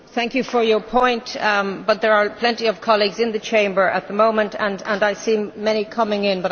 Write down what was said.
Thank you for your point, but there are plenty of colleagues in the Chamber at the moment and I see many more coming in.